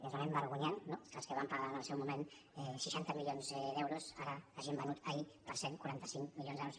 és realment vergonyant no que els que van pagar en el seu moment seixanta milions d’euros ara hagin venut ahir per cent i quaranta cinc milions d’euros